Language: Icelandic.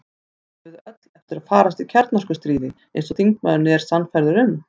Eigum við öll eftir að farast í kjarnorkustríði, eins og þingmaðurinn er sannfærður um?